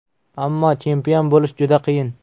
Ammo chempion bo‘lish juda qiyin.